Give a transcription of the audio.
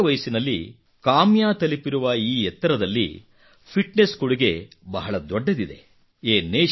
ಇಷ್ಟು ಚಿಕ್ಕ ವಯಸ್ಸಿನಲ್ಲಿ ಕಾಮ್ಯಾ ತಲುಪಿರುವ ಈ ಎತ್ತರದಲ್ಲಿ ಫಿಟ್ನೆಸ್ ಕೊಡುಗೆ ಬಹಳ ದೊಡ್ಡದಿದೆ